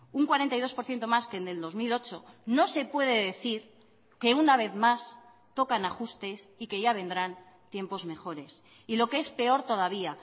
un cuarenta y dos por ciento más que en el dos mil ocho no se puede decir que una vez más tocan ajustes y que ya vendrán tiempos mejores y lo que es peor todavía